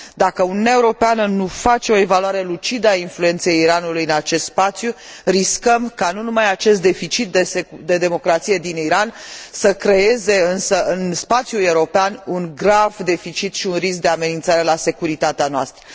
Dacă Uniunea Europeană nu face o evaluare lucidă a influenței Iranului în acest spațiu, riscăm ca nu numai acest deficit de democrație din Iran să creeze, însă, în spațiul european, un grav deficit și un risc de amenințare la securitatea noastră.